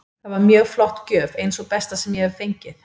Það var mjög flott gjöf, ein sú besta sem ég hef fengið.